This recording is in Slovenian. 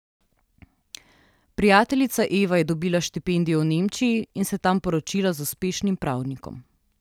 Prijateljica Eva je dobila štipendijo v Nemčiji in se tam poročila z uspešnim pravnikom.